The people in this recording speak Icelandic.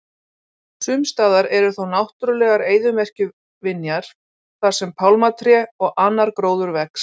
Sumstaðar eru þó náttúrulegar eyðimerkurvinjar þar sem pálmatré og annar gróður vex.